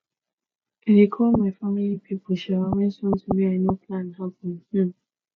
i dey call my family pipo um wen sometin wey i no plan happen um